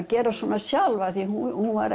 gera svona sjálf því að hún var